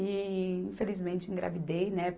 E infelizmente engravidei, né?